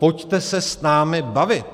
Pojďte se s námi bavit.